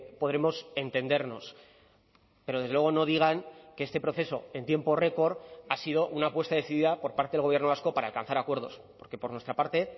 podremos entendernos pero desde luego no digan que este proceso en tiempo récord ha sido una apuesta decidida por parte del gobierno vasco para alcanzar acuerdos porque por nuestra parte